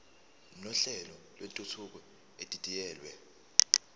nohlelo lwentuthuko edidiyelwe